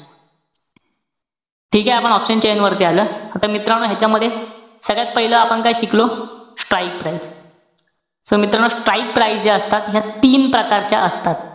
ठीकेय? आपण option chain वरती आलोय. आता मित्रांनो, ह्यांच्यामध्ये सगळ्यात पाहिलं आपण काय शिकलो? Strike price. so मित्रानो, strike price ज्या असतात, ह्या तीन प्रकारच्या असतात.